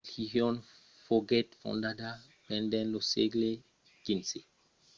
la religion foguèt fondada pendent lo sègle xv per guru nanak 1469–1539. seguiguèron en succession nòu autres gorós